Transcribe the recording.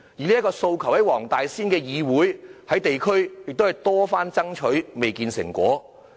這個訴求，黃大仙區議會及地區組織曾多番爭取，仍未見成果。